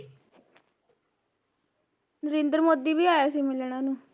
ਨਰਿੰਦਰ ਮੋਦੀ ਵੀ ਆਇਆ ਸੀ ਮਿਲਣ ਉਹਨੂੰ